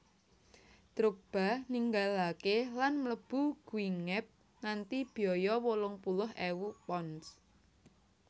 Drogba ninggalakè lan mlebu Guingamp kanthi biaya wolung puluh ewu pounds